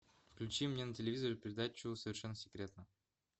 включи мне на телевизоре передачу совершенно секретно